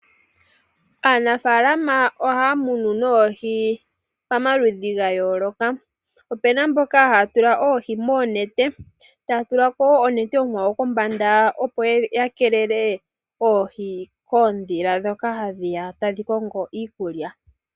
Aanafaalama ohaya munu oohi pamaludhi ga yooloka, opena mboka haya tula oohi moonete, taya tulako wo onete onkwawo kombanda, opo ya keelele oohi koondhila ndhoka hadhiya tadhi kongo iikulya.